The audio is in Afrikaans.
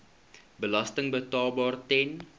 belasting betaalbaar ten